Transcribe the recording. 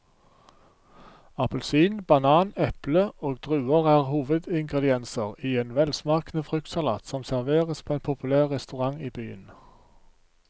Appelsin, banan, eple og druer er hovedingredienser i en velsmakende fruktsalat som serveres på en populær restaurant i byen.